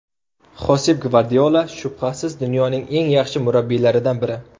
Xosep Gvardiola shubhasiz, dunyoning eng yaxshi murabbiylaridan biri.